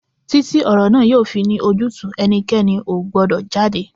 Títí ti ọ̀rọ̀ yìí yóò fi ní ojútùú, ẹnikẹ́ni ò gbọ́dọ̀ jáde!